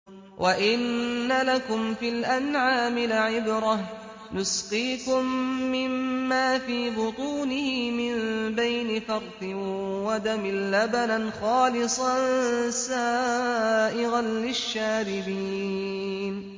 وَإِنَّ لَكُمْ فِي الْأَنْعَامِ لَعِبْرَةً ۖ نُّسْقِيكُم مِّمَّا فِي بُطُونِهِ مِن بَيْنِ فَرْثٍ وَدَمٍ لَّبَنًا خَالِصًا سَائِغًا لِّلشَّارِبِينَ